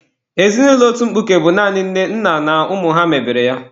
Ezinụlọ otu mkpuke bụ naanị nne, nna na ụmụ ha mebere ya.